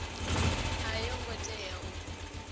a yo ngo tea u